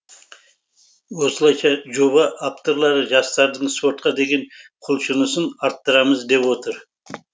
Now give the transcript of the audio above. осылайша жоба авторлары жастардың спортқа деген құлшынысын арттырамыз деп отыр